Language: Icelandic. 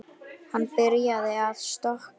Hann byrjaði að stokka.